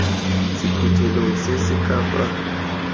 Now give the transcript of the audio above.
sephuthelong se se ka fa